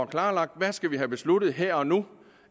klarlagt hvad skal vi have besluttet her og nu